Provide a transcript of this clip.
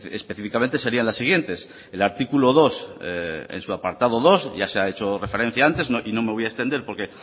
específicamente serían las siguientes el artículo dos en su apartado dos ya se ha hecho referencia antes y no me voy a extender porque